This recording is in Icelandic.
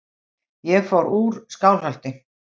Ég fór úr Skálholti.